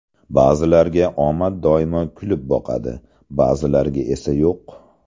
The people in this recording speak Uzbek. Ba’zilarga omad doimo kulib boqadi, ba’zilarga esa yo‘q?